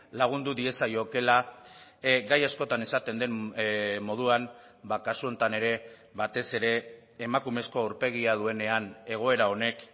lagundu diezaiokeela gai askotan esaten den moduan kasu honetan ere batez ere emakumezko aurpegia duenean egoera honek